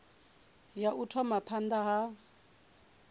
ya u thoma phanda ha